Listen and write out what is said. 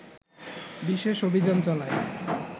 বিশেষ অভিযান চালায়